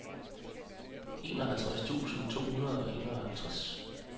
enoghalvtreds tusind to hundrede og enoghalvtreds